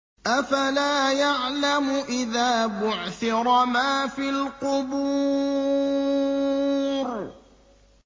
۞ أَفَلَا يَعْلَمُ إِذَا بُعْثِرَ مَا فِي الْقُبُورِ